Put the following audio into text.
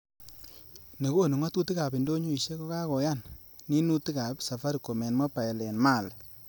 Ne konu ngotutik ab indonyoisiek ko kakoyan ninutikab safaricom en mobile en Mali.